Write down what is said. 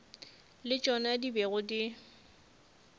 le tšona di bego di